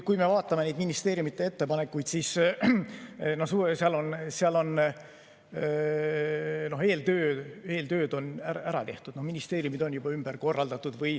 Kui me vaatame neid ministeeriumide ettepanekuid, siis seal on eeltöö ära tehtud, ministeeriumi töö on ümber korraldatud.